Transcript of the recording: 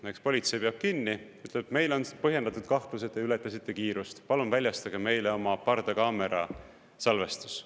Näiteks politsei peab kinni, ütleb, et meil on põhjendatud kahtlus, et te ületasite kiirust, palun väljastage meile oma pardakaamera salvestis.